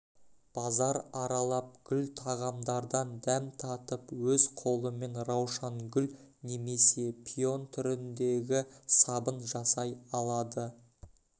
базар аралап гүл тағамдардан дәм татып өз қолымен раушангүл немесе пион түріндегі сабын жасай алады